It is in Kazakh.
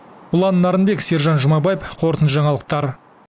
ұлан нарынбек сержан жұмабаев қорытынды жаңалықтар